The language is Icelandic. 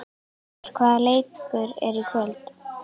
Geir, hvaða leikir eru í kvöld?